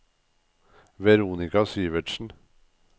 Veronika Syvertsen